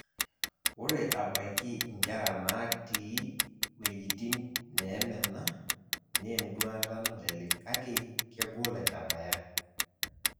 Ore abaiki inkera naati wejitin neemena nenduata nalelek kake kegol aitabayia.